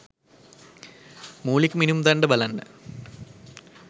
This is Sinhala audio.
මූලික මිනුම් දණ්ඩ බලන්න.